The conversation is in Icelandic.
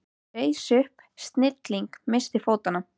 Ég reis upp, snigillinn missti fótanna.